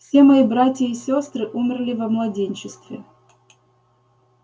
все мои братья и сёстры умерли во младенчестве